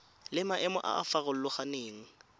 le maemo a a farologaneng